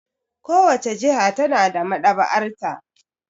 Kowace jiha ta na da maɗaba'arta.